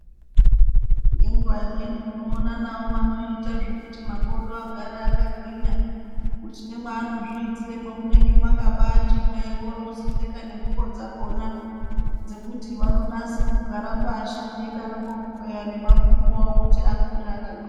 Ngenguva imweni unoona navo vanoita zvekuti makodo agare akagwinya. Kuti nemwano zviitire munonga mwakabati hwee oro vozopfeka nengubo dzakona. Dzekuti vanonase kugara pashi veidaroko kukweya nemakumbo avo kuti akure akagwinya.